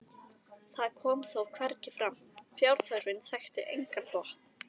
það kom þó hvergi fram: fjárþörfin þekkti engan botn.